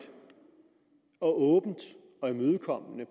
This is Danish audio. og åbent og imødekommende